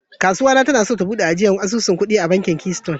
Kasuwa na ta na so ta bude asusun ajiyan kudi a bankin "keystone ".